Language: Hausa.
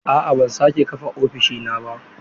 A'a ban sake kafa ofishina ba